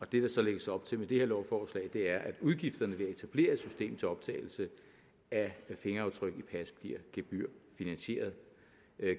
det der så lægges op til med det her lovforslag er at udgifterne ved at etablere et system til optagelse af fingeraftryk i pas bliver gebyrfinansieret